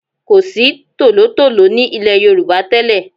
Kò sí tòlótòló ní ilẹ̀ Yorùbá tẹ́lẹ̀.